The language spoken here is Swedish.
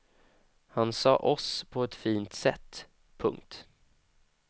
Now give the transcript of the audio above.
Han sade oss på ett fint sätt. punkt